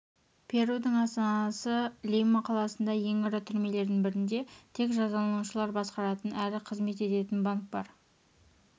перудың астанасы лима қаласындағы ең ірі түрмелердің бірінде тек жазаланушылар басқаратын әрі қызмет ететін банк бар